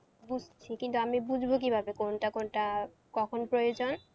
বুঝছি কিন্তু আমি বুঝবো কিভাবে কোনটা কোনটা কখন প্রয়োজন?